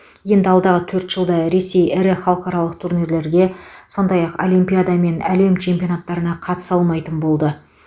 енді алдағы төрт жылда ресей ірі халықаралық турнирлерге сондай ақ олимпиада мен әлем чемпионаттарына қатыса алмайтын болды